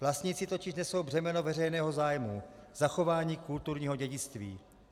Vlastnící totiž nesou břemeno veřejného zájmu - zachování kulturního dědictví.